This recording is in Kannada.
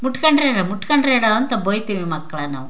ಮುಟ್ಕೊಂಡ್ರೆನೊ ಮುಟ್ಕೊಂಡ್ರೆನೋ ಅಂತ ಬೈತೀವಿ ಮಕ್ಕಳಿಗೆ ನಾವು.